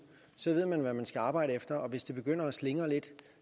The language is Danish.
så ved man hvad man skal arbejde efter og hvis det begynder at slingre lidt